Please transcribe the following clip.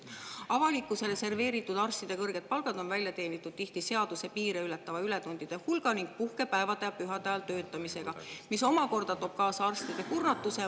Avalikkusele serveeritud arstide kõrged palgad on välja teenitud tihti seaduse piire ületava ületundide hulgaga ning puhkepäevade ja pühade ajal töötamisega, mis muidugi toob kaasa arstide kurnatuse.